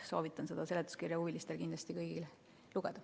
Soovitan seletuskirja kõigil huvilistel kindlasti lugeda.